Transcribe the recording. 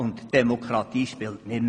So spielt die Demokratie nicht mehr.